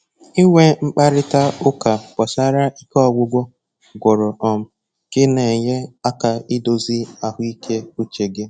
Inwe mkparịta ụka gbasara ike ọgwụgwụ gwụrụ um gị na-enye aka idozi ahụ ike uche gị